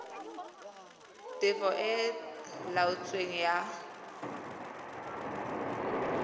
tefo e e laotsweng ya